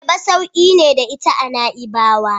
Ayaba sauki ne da ita a Na'ibawa.